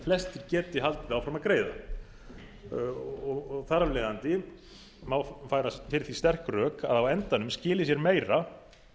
flestir geti haldið áfram að greiða og þar af leiðandi má færa fyrir því sterk rök að á endanum skili sér meira